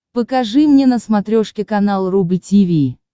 покажи мне на смотрешке канал рубль ти ви